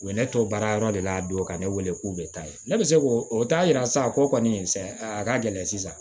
U ye ne to baara yɔrɔ de la don ka ne wele k'u bɛ taa ye ne bɛ se ko o t'a yira sa ko kɔni a ka gɛlɛn sisan